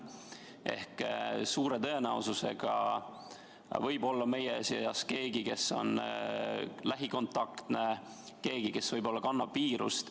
Seega, suure tõenäosusega võib olla meie seas keegi, kes on lähikontaktne, keegi, kes kannab viirust.